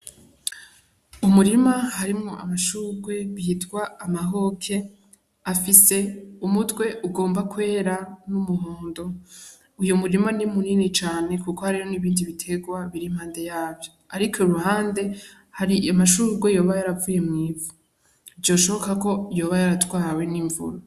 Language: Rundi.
Umurima harimwo amashurwe bitwa amahoke afise umutwe ugomba kwera n'umuhondo, uyo murima ni munini cane kuko hariho n'ibindi biterwa biri mpande yavyo, ariko iruhande hari amashurwe yoba yaravuye mw'ivu vyoshoboka ko yoba yaratwawe n'imvura.